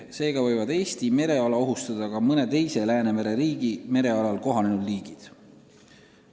Seega võivad Eesti mereala ohustada ka mõne teise Läänemere riigi merealal kohanenud liigid.